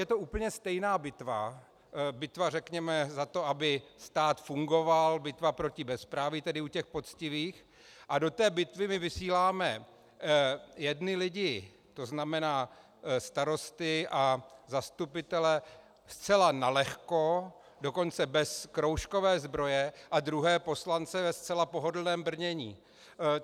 Je to úplně stejná bitva, bitva řekněme za to, aby stát fungoval, bitva proti bezpráví, tedy u těch poctivých, a do té bitvy my vysíláme jedny lidi, to znamená starosty a zastupitele, zcela nalehko, dokonce bez kroužkové zbroje, a druhé, poslance, ve zcela pohodlném brnění.